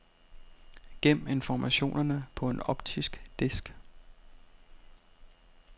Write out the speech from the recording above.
Gem informationerne på en optisk disk.